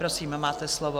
Prosím, máte slovo.